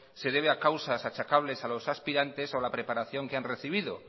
se debe a causas achacables a los aspirantes o a la preparación que han recibido